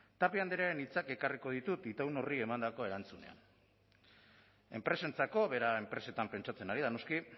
tapia andrearen hitzak ekarriko ditut itaun horri emandako erantzunean enpresentzako bera enpresetan pentsatzen ari da noski